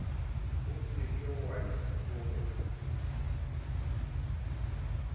o se ke wa itlotsa